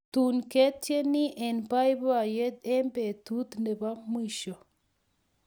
Tun pketieni eng boiboiyet eng betut nebo mwisho